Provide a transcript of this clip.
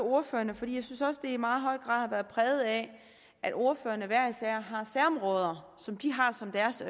ordførerne for jeg synes også debatten i meget høj grad har været præget af at ordførerne hver især har særområder som de har som deres